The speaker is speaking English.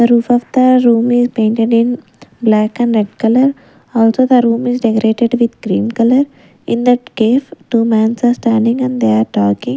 The roof of the room is painted in black and red color. Also the room is decorated with green color. In that case two mans are standing and they are talking.